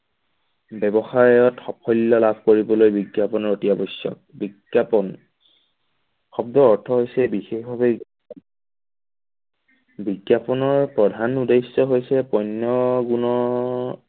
ব্যৱসায়ত সাফল্য লাভ কৰিবলৈ বিজ্ঞাপন অতি আৱশ্যক। বিজ্ঞাপন শব্দৰ অৰ্থ হৈছে বিশেষভাৱে বিজ্ঞাপনৰ প্ৰধান উদ্দেশ্য হৈছে পণ্য গুণৰ